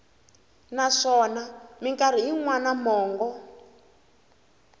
naswona mikarhi yin wana mongo